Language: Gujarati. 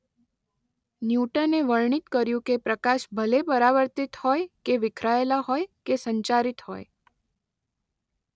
ન્યૂટને વર્ણિત કર્યું કે પ્રકાશ ભલે પરાવર્તિત હોય કે વિખેરાયેલા હોય કે સંચારિત હોય